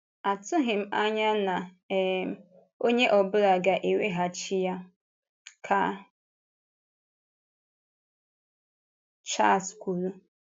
“Atụghị m anya na um onye ọ bụla ga-eweghachi ya,” ka Chárlés kwùrù.